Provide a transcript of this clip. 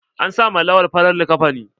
An sa ma Lawan farar liƙafani.